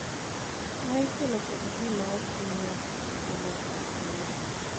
ma ikelo kod ji "ma ok miyo chike mag thieth luor".